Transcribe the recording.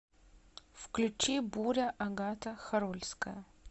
включи буря агата хорольская